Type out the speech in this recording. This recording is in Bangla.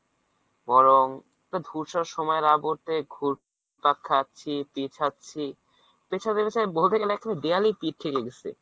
বরং একটা ধূসর সময়ের আবর্তে ঘুরপাক খাচ্ছি, পেচাচ্ছি, পেছাতে পেছাতে বলতে গেলে actually দেওয়ালেই পিঠ থেকে গেছে।